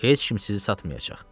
Heç kim sizi satmayacaq.